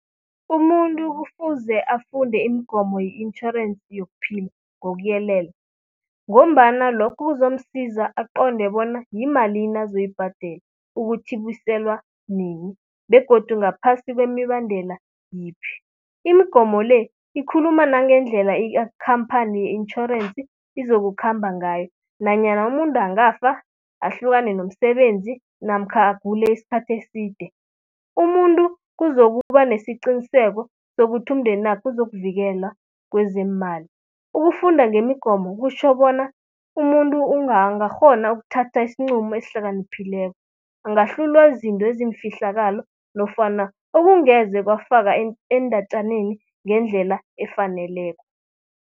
Umuntu kufuze afunde imigomo ye-itjhorensi yokuphila ngokuyelela ngombana lokho kuzomsiza aqonde bona yimalini azoyibhadela, ukuthi ibuselwa nini begodu ngaphasi kwemibandela yiphi. Imigomo le, ikhuluma nangendlela ikhamphani ye-itjhorensi izokukhamba ngayo. Nanyana umuntu angafaka, ahlukane nomsebenzi namkha agule iskhathi eside. Umuntu kuzokuba nesiqiniseko sokuthi umndenakhe uzokuvikelwa kwezeemali. Ukufunda ngemigomo kutjho bona umuntu angakghona ukuthatha isinqumo esihlakaniphileko. Angahlulwa yizinto eziyifihlakalo nofana okungeze kwafaka eendatjaneni ngendlela efaneleko.